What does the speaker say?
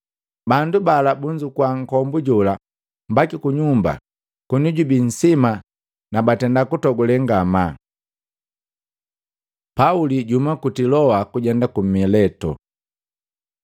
Bandu bala bunzukua nkombujola mbaki kunyumba koni jubi nsima na batenda kutogule ngamaa. Pauli juhuma ku Tiloa kujenda ku Mileto